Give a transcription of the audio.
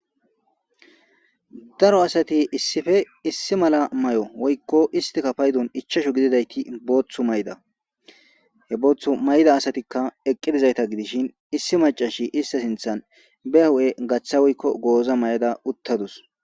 daro asati issife issi mala may7o woykko istika paydun ichashu gididayti booththu mayda he booththu mayda asatikka eqqidizayta gidishin issi macashi ista sinthan be hu7e gaththa woykko gooza may7ada uttadus